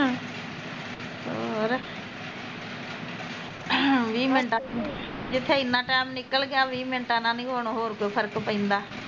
ਹੋਰ ਜਿੱਥੇ ਜਿੱਥੇ ਏਨਾਂ ਟੈਮ ਨਿਕਲ ਗਿਆ ਵੀਹ ਮਿੰਟਾਂ ਨਾਲ਼ ਨੀ ਹੁਣ ਹੋਰ ਕੋਈ ਫਰਕ ਪੈਂਦਾ